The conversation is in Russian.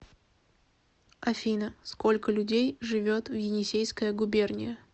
афина сколько людей живет в енисейская губерния